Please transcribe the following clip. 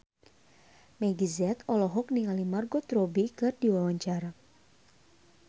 Meggie Z olohok ningali Margot Robbie keur diwawancara